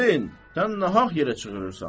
Qazi, sən nahaq yerə çığırırsan.